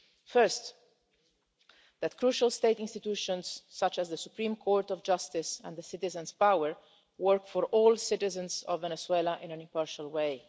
First, that crucial state institutions such as the Supreme Court of Justice and citizen power' offices work for all citizens of Venezuela in an impartial